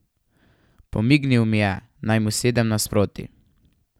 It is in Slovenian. Pomignil mi je, naj mu sedem nasproti.